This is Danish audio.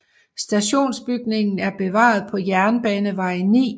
Stationsbygningen er bevaret på Jernbanevej 9